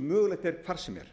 mögulegt er hvar sem er